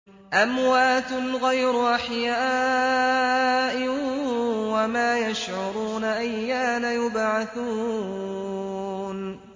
أَمْوَاتٌ غَيْرُ أَحْيَاءٍ ۖ وَمَا يَشْعُرُونَ أَيَّانَ يُبْعَثُونَ